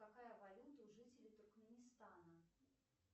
какая валюта у жителей туркменистана